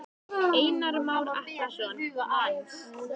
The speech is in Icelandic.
Einar Már Atlason: Manns?